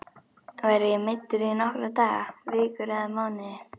Verð ég meiddur í nokkra daga, vikur eða mánuði?